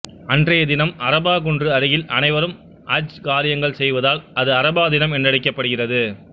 அன்றைய தினம் அரபா குன்று அருகில் அனைவரும் ஹஜ் காரியங்கள் செய்வதால் அது அரபா தினம் என்றழைக்க படுகிறது